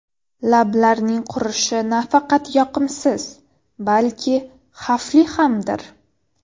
Lablarning qurishi nafaqat yoqimsiz, balki xavfli hamdir.